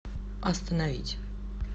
остановить